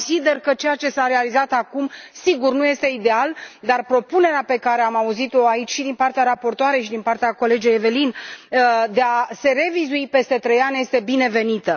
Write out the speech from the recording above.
Consider că ceea ce s a realizat acum, sigur, nu este ideal, dar propunerea pe care am auzit o aici, și din partea raportoarei, și din partea colegei Evelyne, de a se revizui peste trei ani este binevenită.